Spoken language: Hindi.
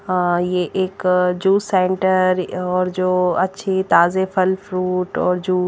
हा ये एक जो सेंटर और जो अछे ताजे फल फ्रूट और जो --